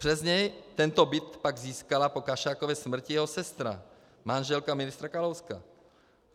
Přes něj tento byt pak získala po Kašákově smrti jeho sestra, manželka ministra Kalouska.